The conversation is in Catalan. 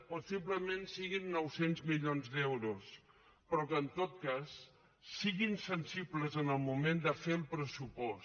possiblement siguin nou cents milions d’euros però que en tot cas siguin sensibles en el moment de fer el pressupost